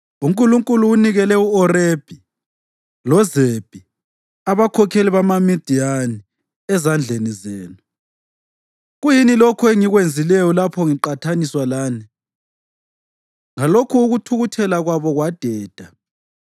UNkulunkulu unikele u-Orebhi loZebhi, abakhokheli bamaMidiyani, ezandleni zenu. Kuyini lokho engikwenzileyo lapho ngiqathaniswa lani?” Ngalokhu ukuthukuthela kwabo kwadeda.